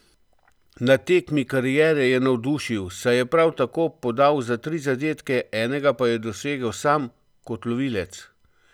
Na tekmi kariere je navdušil, saj je prav tako podal za tri zadetke, enega pa je dosegel sam kot lovilec!